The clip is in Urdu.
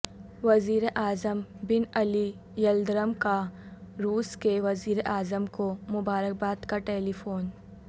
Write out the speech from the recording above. وزیراعظم بن علی یلدرم کا روس کے وزیراعظم کومبارکباد کا ٹیلی فون